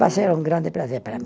Vai ser um grande prazer para mim.